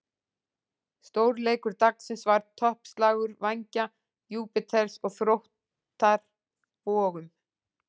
Stórleikur dagsins var toppslagur Vængja Júpíters og Þróttar Vogum.